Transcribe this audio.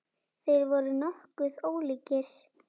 Þeir voru nokkuð ólíkir.